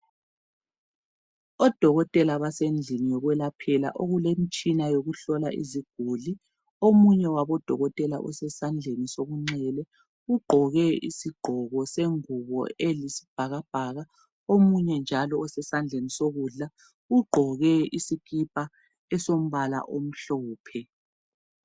Odokotela basendlini yokwelaphela okulemtshina yokuhlola iziguli. Omunye wabodokotela usesandleni sokunxele ugqoke isigqoko sengubo eyisibhakabhaka omunye njalo osesandleni sokudla ugqoke isikipa esombala omhlophe.